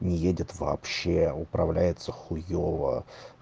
не едет вообще управляется хуёво